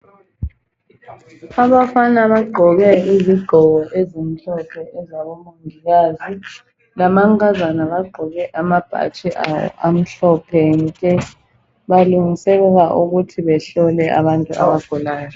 Abafana bagqoke izigqoko ezimhlophe ezabomongikazi lamankazana bagqoke amabhatshi amhlophe nke balungiselela ukuthi behlole abantu abagulayo.